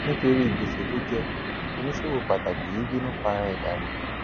nítorí gbèsè tó jẹ oníṣòwò pàtàkì yìí bínú para ẹ dànù